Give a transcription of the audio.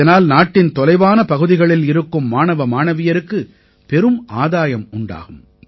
இதனால் நாட்டின் தொலைவான பகுதிகளில் இருக்கும் மாணவ மாணவியருக்கு பெரும் ஆதாயம் உண்டாகும்